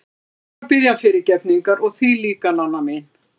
Ég þarf að biðja hann fyrirgefningar og þig líka, Nanna mín.